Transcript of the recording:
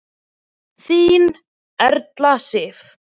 Þín Erla Sif.